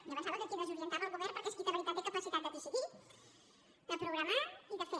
jo pensava que qui desorientava era el govern perquè és qui de veritat té capacitat de decidir de programar i de fer